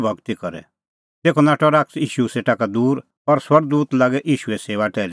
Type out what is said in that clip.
तेखअ नाठअ शैतान ईशू सेटा का दूर और स्वर्ग दूत लागै ईशूए सेऊआ टैहली करदै